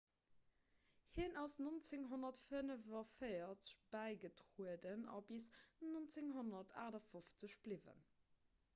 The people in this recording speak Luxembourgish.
hien ass 1945 bäigetrueden a bis 1958 bliwwen